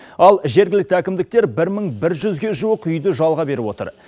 ал жергілікті әкімдіктер бір мың бір жүзге жуық үйді жалға беріп отыр